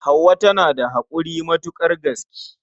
Hauwa tana da haƙuri matuƙar gaske.